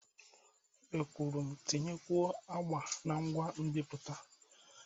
M kwuru, tinyekwuo agba na ngwa nbipute!